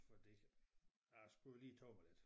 Fordi jeg skulle lige tabe mig lidt